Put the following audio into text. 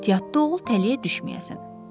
Ehtiyatlı ol, tələyə düşməyəsən.